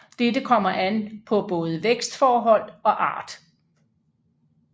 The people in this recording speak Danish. Dette kommer an på både vækstforhold og art